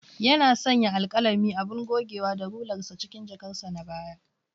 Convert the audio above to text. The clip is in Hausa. Yana sanya alkalami, abun gogewa da rular sa cikin jakarsa ta baya.